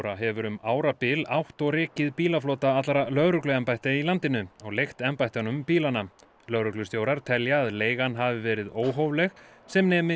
hefur um árabil átt og rekið bílaflota allra lögregluembætta í landinu og leigt embættunum bílana lögreglustjórar telja að leigan hafi verið óhófleg sem nemi